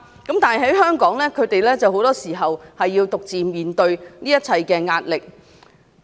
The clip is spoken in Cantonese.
但是，在香港他們很多時候要獨自面對這一切壓力。